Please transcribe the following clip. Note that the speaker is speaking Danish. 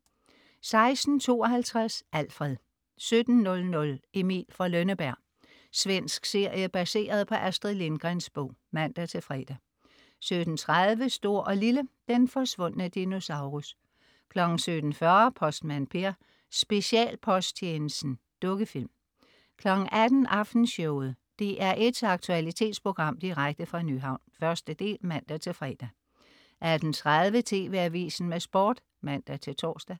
16.52 Alfred 17.00 Emil fra Lønneberg. Svensk serie baseret på Astrid Lindgrens bog (man-fre) 17.30 Stor & Lille. Den forsvundne dinosaurus 17.40 Postmand Per: Specialposttjenesten. Dukkefilm 18.00 Aftenshowet. DR1s aktualitetsprogram direkte fra Nyhavn. 1. del (man-fre) 18.30 TV AVISEN med Sport (man-tors)